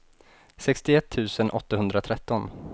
sextioett tusen åttahundratretton